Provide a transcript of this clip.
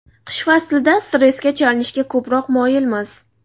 Qish faslida stressga chalinishga ko‘proq moyilmiz.